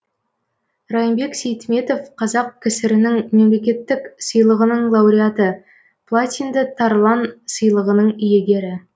райымбек сейтметов қазақ ксрнің мемлекеттік сыйлығының лауреаты платинды тарлан сыйлығының иегері